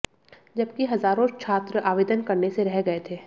जबकि हजारों छात्र आवेदन करने से रह गए थे